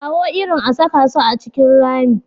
Kawo irin a saka su a cikin rami.